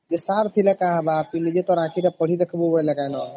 sir ଥିଲେ କଁ ହାବ ତୁଇ ନିଜେ ତୋର ଆଖି ଟା ପଢି ଦେଖିବୁ ବୋଇଲେ କି ନ